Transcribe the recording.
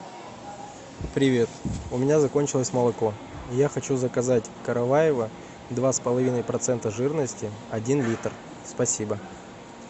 привет у меня закончилось молоко я хочу заказать караваево два с половиной процента жирности один литр спасибо